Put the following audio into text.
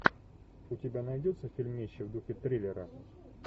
у тебя найдется фильмище в духе триллера